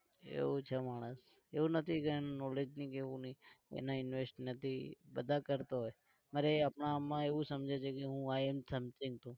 એવું છે માણસ એવું નથી કે એનું knowledge નથી કે એવું નહિ એને invest નથી બધા કરતા હોય અરે અપના આપમાં એવું સમજે છે કે હું i am something છું.